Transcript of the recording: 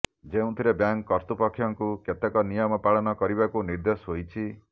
ଯେଉଁଥିରେ ବ୍ୟାଙ୍କ କର୍ତୃପକ୍ଷଙ୍କୁ କେତେକ ନିୟମ ପାଳନ କରିବାକୁ ନିର୍ଦେଶ ହୋଇଛି